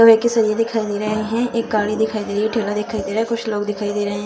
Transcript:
लोहे के सरिये दिखाई दे रहे हैं। एक गाड़ी दिखाई दे रही ठेला दिखाई दे रहा कुछ लोग दिखाई दे रहे हैं।